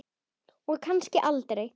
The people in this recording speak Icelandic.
Og kannski aldrei.